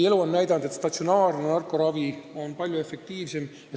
Elu on näidanud, et statsionaarne narkoravi on palju efektiivsem.